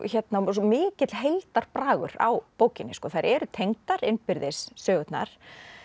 svo mikill heildarbragur á bókinni þær eru tengdar innbyrðis sögurnar